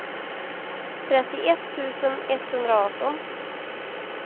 trettioett tusen etthundraarton